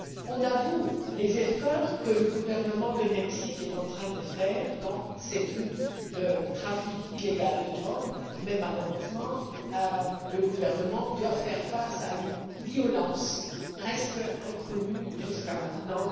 On a vu les efforts que le gouvernement du Mexique est en train de faire dans cette lutte contre le trafic illégal de drogue même si, malheureusement, le gouvernement doit faire face à une violence presque inconnue jusqu'à maintenant.